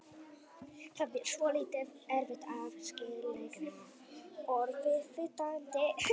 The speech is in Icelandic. Það er svolítið erfitt að skilgreina orðið fitandi.